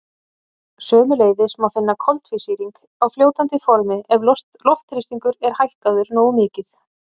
Sömuleiðis má finna koltvísýring á fljótandi formi ef loftþrýstingur er hækkaður nógu mikið.